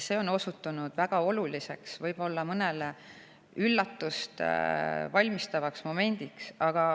See on osutunud väga oluliseks momendiks, mis võib-olla mõnele on olnud üllatus.